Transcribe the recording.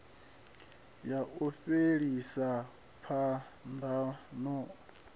ya u fhelisa phambano i